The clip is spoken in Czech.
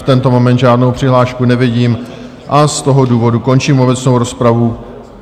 V tento moment žádnou přihlášku nevidím a z toho důvodu končím obecnou rozpravu.